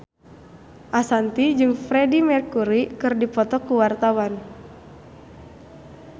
Ashanti jeung Freedie Mercury keur dipoto ku wartawan